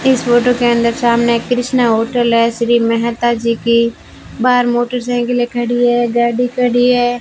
इस फोटो के अंदर सामने एक कृष्णा होटल है श्री मेहता जी की बाहर मोटोसाइकिलें खड़ी हैं गाड़ी खड़ी है।